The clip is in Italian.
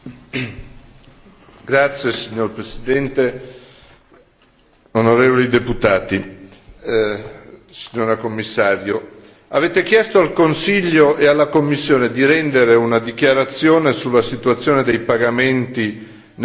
Signor Presidente, onorevoli deputati, signora Commissario, avete chiesto al Consiglio e alla Commissione di rendere una dichiarazione sulla situazione dei pagamenti nel bilancio dell'Unione europea.